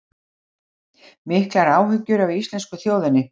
Miklar áhyggjur af íslensku þjóðinni